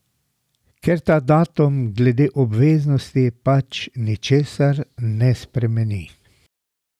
Ker ta datum glede obveznosti pač ničesar ne spremeni.